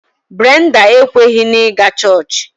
Brenda ekweghị na ịga chọọchị